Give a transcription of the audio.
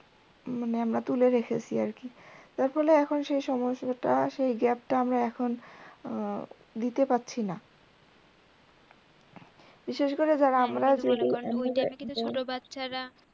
মানে আমরা তুলে রেখেছি আর কি। তার ফলে এখন সেই সময় টা সেই gap টা আমরা এখন দিতে পারছিনা বিশেষ করে যারা আমরা ছোটো বাচ্চা রা